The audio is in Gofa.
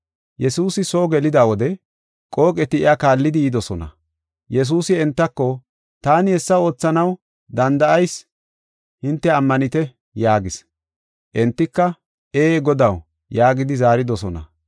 Yesuusi soo gelida wode qooqeti iya kaallidi yidosona. Yesuusi entako, “Taani hessa oothanaw danda7eysa hinte ammanetii?” yaagis. Entika, “Ee, Godaw” yaagidi zaaridosona.